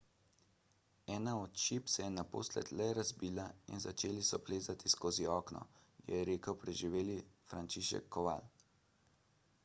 ena od šip se je naposled le razbila in začeli so plezati skozi okno je rekel preživeli franciszek kowal